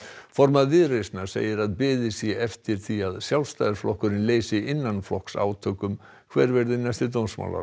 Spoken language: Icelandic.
formaður Viðreisnar segir að beðið sé eftir því að Sjálfstæðisflokkurinn leysi innanflokksátök um hver verði næsti dómsmálaráðherra